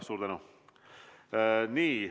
Suur tänu!